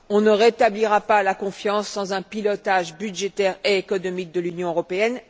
On ne rétablira pas la confiance sans un pilotage budgétaire et économique de l'Union européenne.